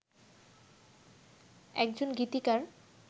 একজন গীতিকার